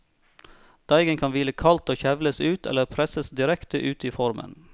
Deigen kan hvile kaldt og kjevles ut, eller presses direkte ut i formen.